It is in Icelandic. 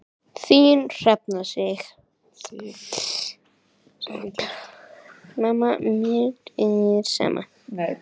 Þín Hrefna Sif.